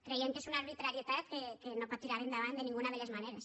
creiem que és una arbitrarietat que no pot tirar endavant de ninguna de les maneres